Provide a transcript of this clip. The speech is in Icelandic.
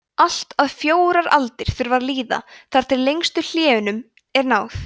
allt að fjórar aldir þurfa að líða þar til lengstu hléunum er náð